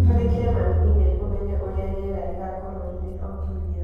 Twandĩkĩre mami e-mail ũmenye ũrĩa rĩera rĩgaakorũo rĩrĩ o kiumia